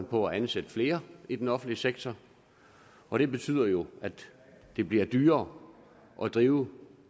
på at ansætte flere i den offentlige sektor og det betyder jo at det bliver dyrere at drive